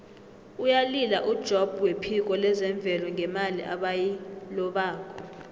uyalila ujobb wephiko lezemvelo ngemali ebayilobako